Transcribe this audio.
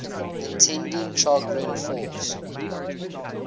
attending chagrin falls